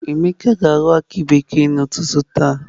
Emeka ga ahọ aki bekee na ụtụtụ taa.